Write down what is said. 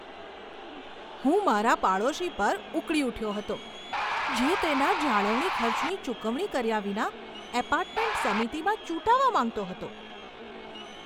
હું મારા પાડોશી પર ઉકળી ઉઠ્યો હતો, જે તેના જાળવણી ખર્ચની ચૂકવણી કર્યા વિના એપાર્ટમેન્ટ સમિતિમાં ચૂંટાવા માંગતો હતો.